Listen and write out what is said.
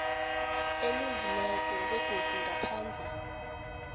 elungileko begodu ngaphandle